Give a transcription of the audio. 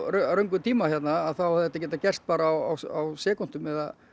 röngum tíma hérna þá hefði þetta geta gerst á sekúndum eða